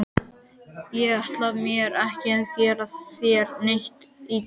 Ég ætlaði mér ekki að gera þér neitt illt.